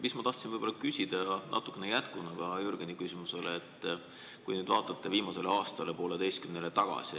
Aga ma tahtsin küsida, seda natukene ka jätkuna Jürgeni küsimusele, et kui te nüüd vaataksite viimasele aastale või poolteisele tagasi.